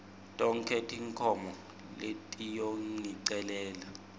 tonkhe tinkhomo letiyongicelela